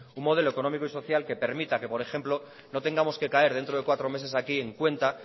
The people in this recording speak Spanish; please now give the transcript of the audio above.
un modelo económico y social que permita que por ejemplo no tengamos que caer dentro de cuatro meses aquí en cuenta